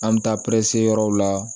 An bɛ taa yɔrɔw la